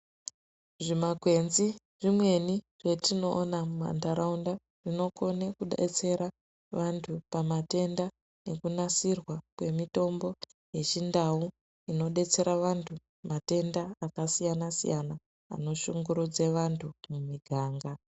Zvimakwenzi zvimweni zvetinoona mumantaraunda zvinokone kudetsera antu pamatenda nekunasirwa kwemitombo yechindau inodetsera vantu matenda akasiyana siyana anoshungurudze vantu mumiganga.